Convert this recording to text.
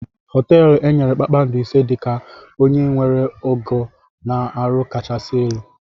Hoteelu enyere kpakpando ise dị ka onye nwere ogo na ọrụ kachasị elu.